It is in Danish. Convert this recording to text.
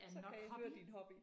Så kan jeg høre din hobby